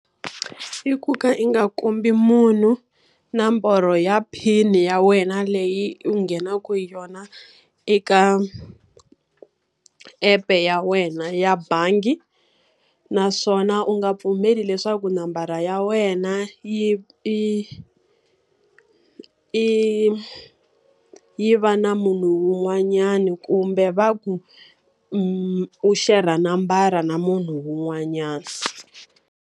I ku ka i nga kombi munhu na nomborho ya PIN-i ya wena leyi u nghenaka yona eka app-e ya wena ya bangi. Naswona u nga pfumeli leswaku nambara ya wena yi i i yi va na munhu un'wanyana, kumbe va ku ri u share-ra nambara na munhu un'wanyana.